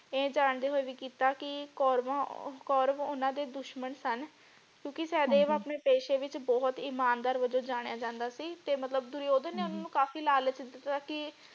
ਇਹ ਜਾਂਦੇ ਹੋਏ ਵੀ ਕੀਤਾ ਕਿ ਕੌਰਵਾਂ ਕੌਰਵ ਓਨਾ ਦੇ ਦੁਸ਼ਮਣ ਸਨ ਕਿਉਕਿ ਸਹਿਦੇਵ ਹਾਂਜੀ ਆਪਣੇ ਪੇਸ਼ੇ ਵਿਚ ਬਹੁਤ ਇਮਾਨਦਾਰ ਵੱਜੋਂ ਜਾਣਿਆ ਜਾਂਦਾ ਸੀ ਤੇ ਮਤਲਬ ਦੁਰਯੋਧਨ ਹਾਂਜੀ ਨੇ ਉਨ੍ਹਾਂਨੂੰ ਕਾਫੀ ਲਾਲਚ ਦਿਤਾ ਕਿ।